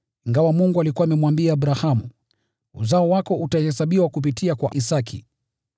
Ingawa Mungu alikuwa amemwambia Abrahamu, “Uzao wako utahesabiwa kupitia kwa Isaki,”